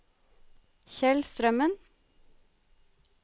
Kjell Strømmen